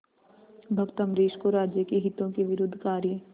भक्त अम्बरीश को राज्य के हितों के विरुद्ध कार्य